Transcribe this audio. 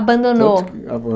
Abandonou